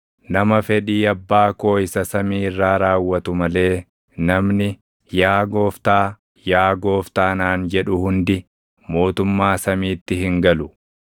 “Nama fedhii Abbaa koo isa samii irraa raawwatu malee namni, ‘Yaa Gooftaa, yaa Gooftaa’ naan jedhu hundi mootummaa samiitti hin galu.